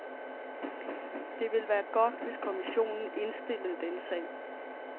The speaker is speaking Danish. Det ville være godt, hvis kommissionen indstillede denne sag.